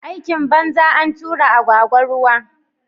Aikin banza, antura agwagwa ruwa